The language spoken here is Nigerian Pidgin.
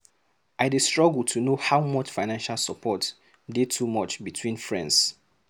I dey struggle to know how much financial support dey too much between friends.